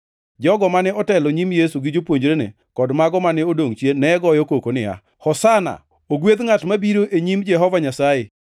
Jogo mane otelo e nyim Yesu gi jopuonjrene, kod mago mane odongʼ chien, ne goyo koko niya, “Hosana!” + 11:9 \+xt Zab 118:25,26\+xt* “Ogwedh ngʼat mabiro e nying Jehova Nyasaye.”